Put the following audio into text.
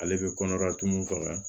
Ale bɛ kɔnɔdatu min faga